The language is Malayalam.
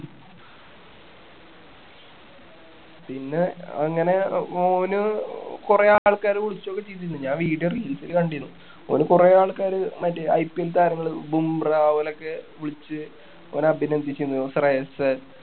പിന്നെ അങ്ങനെ അഹ് ഓന് കൊറേ ആൾക്കാര് വിളിച്ച് കിട്ടീട്ട്ണ്ട് ഞാൻ video reels ല് കണ്ടിരുന്നു ഓന് കൊറേ ആൾക്കാര് മറ്റേ IPL താരങ്ങള് ബുംറ അതുപോലൊക്കെ വിളിച്ച് ഓനെ അഭിനന്ദിക്കുന്നതും ശ്രേയസ്സ്